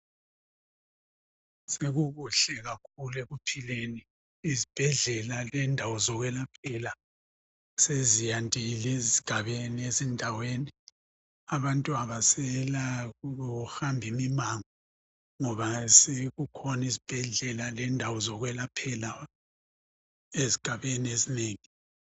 Sekukuhle kakhulu ekuphileni, izibhedlela lendawo zokulaphela seziyandile ezigabeni ezindaweni. Abantu abasela kuhamba imimango ngoba sekukhona izibhedlela lendawo zokwelaphela ezigabeni ezinengi.